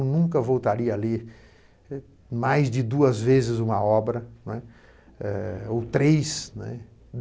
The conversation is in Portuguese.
nunca voltaria a ler mais de duas vezes uma obra, não é? É... ou três, né.